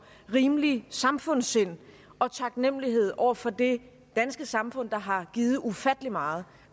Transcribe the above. rimeligt samfundssind og taknemmelighed over for det danske samfund der har givet ufattelig meget